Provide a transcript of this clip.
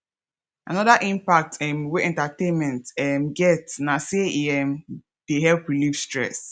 another impact um wey entertainment um get na say e um dey help relieve stress